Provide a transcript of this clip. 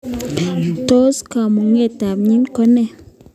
Tos kamuket ab MYH kone?